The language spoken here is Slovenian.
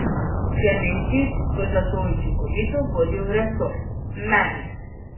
Klemenčič bo zato učinkovito vodil resor, meni.